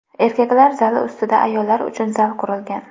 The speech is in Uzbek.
Erkaklar zali ustida ayollar uchun zal qurilgan.